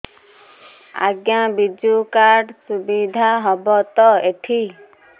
ଆଜ୍ଞା ବିଜୁ କାର୍ଡ ସୁବିଧା ହବ ତ ଏଠି